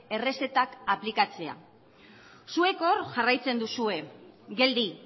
errezetak aplikatzea zuek hor jarraitzen duzue geldi